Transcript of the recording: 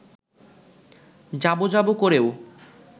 যাব যাব করেও